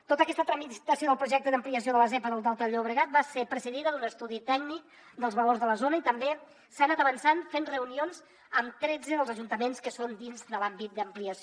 tota aquesta tramitació del projecte d’ampliació de la zepa del delta del llobregat va ser precedida d’un estudi tècnic dels valors de la zona i també s’ha anat avançant fent reunions amb tretze dels ajuntaments que són dins de l’àmbit d’ampliació